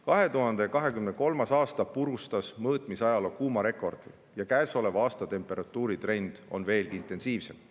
2023. aasta purustas mõõtmisajaloo kuumarekordi ja käesoleva aasta temperatuuritrend on veelgi intensiivsem.